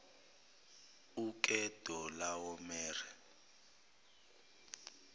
ukedorlawomere